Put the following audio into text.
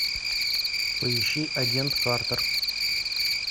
поищи агент картер